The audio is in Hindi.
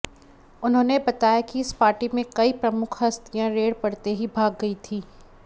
उन्होंने बताया कि इस पार्टी में कई प्रमुख हस्तियां रेड पड़ते ही भाग गई थीं